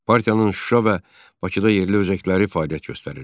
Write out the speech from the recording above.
Partiyanın Şuşa və Bakıda yerli özəkləri fəaliyyət göstərirdi.